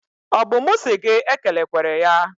Ọ bụ mụ si gị ekelekwere ya?